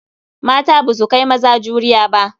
Mata ba su kai maza juriya ba.